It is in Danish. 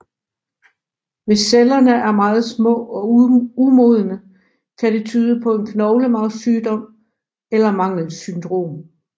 Hvis cellerne er meget små og umodne kan det tyde på en knoglemarvssygdom eller et mangelsyndrom